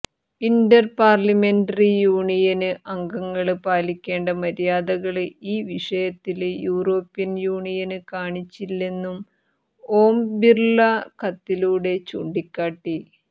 Inter parliamentary union അംഗങ്ങള് പാലിക്കേണ്ട മര്യാദകള് ഈ വിഷയത്തില് യൂറോപ്യന് യൂണിയന് കാണിച്ചില്ലെന്നും ഓം ബിര്ള കത്തിലൂടെ ചൂണ്ടിക്കാട്ടി